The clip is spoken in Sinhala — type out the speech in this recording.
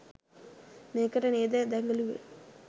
මේකට නේද දැගලුවේ